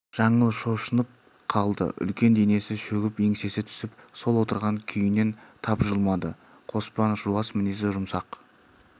жаңыл шошынып қалды үлкен денесі шөгіп еңсесі түсіп сол отырған күйінен тапжылмады қоспан жуас мінезі жұмсақ